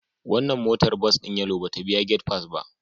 Wannan motar bas din Yellow ba ta biya gate pass ba